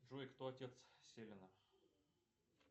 джой кто отец селина